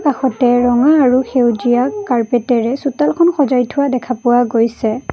কাষতে ৰঙা আৰু সেউজীয়া কাৰ্পেট এৰে চোতালখন সজাই থোৱা দেখা পোৱা গৈছে।